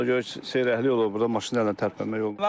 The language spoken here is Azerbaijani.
Ona görə ki, seyrəkliyi olub, burda maşın elə tərpənmək olmur.